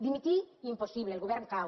dimitir impossible el govern cau